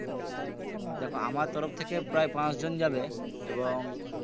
দেখো আমার তরফ থেকে প্রায় পাচজন যাবে এবং